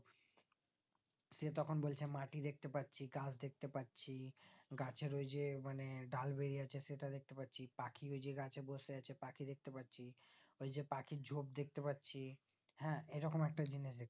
সে তখন বলছে মাটি দেখতে পাচ্ছি গাছ দেখতে পাচ্ছি গাছের ওই যে মানে ডাল বেরিয়ে আছে সেটা দেখতে পাচ্ছি পাখি ঐযে গাছে বসে আছে পাখি দেখতে পাচ্ছি এই যে পাখির ঝোপ দেখতে পাচ্ছি হ্যাঁ এই রকম একটা জিনিস দেখছি